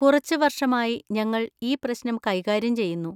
കുറച്ച് വർഷമായി ഞങ്ങൾ ഈ പ്രശ്നം കൈകാര്യം ചെയ്യുന്നു.